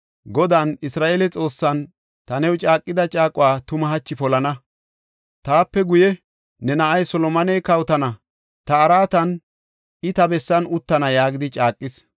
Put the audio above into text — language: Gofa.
Godan, Isra7eele Xoossan ta new caaqida caaquwa tuma hachi polana; taape guye ne na7ay Solomoney kawotana; ta araatan, I ta bessan uttana” yaagidi caaqis.